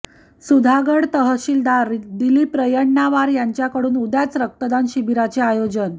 सुधागड तहसिलदार दिलीप रायण्णावार यांच्याकडून उद्याच रक्तदान शिबिराचे आयोजन